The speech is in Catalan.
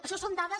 això són dades